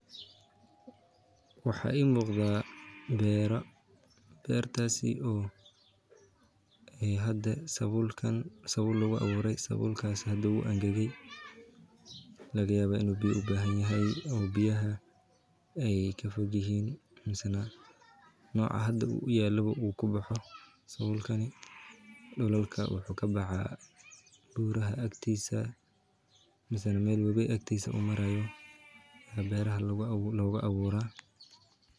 Waxa ii muuqda beera, beertasi oo ay hade sabul lugu abuure, sabulakas hada wuu angage, laga yaba inu biya u bahan yahay oo biyahaa ay kafogyihin misana noca uu hada uyaao uu kuboxo sabulkani dhulalka wuxuu kabaxa buraha agtiisa ama Mel webi agtiisa uu maraayo, beeraha logu abuura